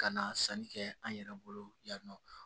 Ka na sanni kɛ an yɛrɛ bolo yan nɔ